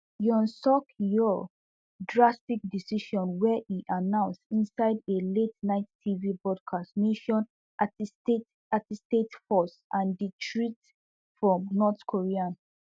yoon suk yeol drastic decision where e announce inside a la ten ight tv broadcast mention antistate antistate forces and di threat from north korea